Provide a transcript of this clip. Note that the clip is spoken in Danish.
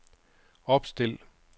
opstil